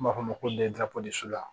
N b'a f'a ma ko